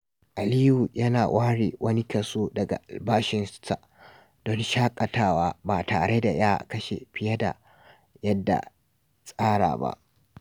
Aliyu yana ware wani kaso daga albashinsa don shakatawa ba tare da ya kashe fiye da yadda tsara ba.